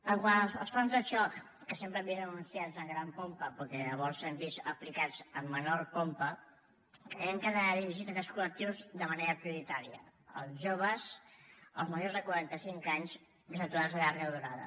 quant als plans de xoc que sempre hem vist anunciats amb gran pompa però que llavors hem vist aplicats amb menor pompa creiem que han d’anar dirigits a aquests collectius de manera prioritària els joves els majors de quaranta cinc anys i els aturats de llarga durada